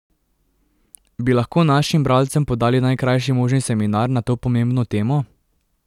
Bi lahko našim bralcem podali najkrajši možni seminar na to pomembno temo?